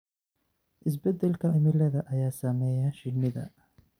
Isbeddelka cimilada ayaa saameeya shinnida.